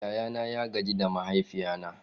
Yayana ya gaji mahaifina.